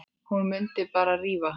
Hún mundi bara rífa hana.